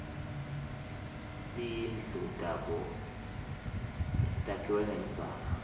timdlu tabo takhkue ngelidzaka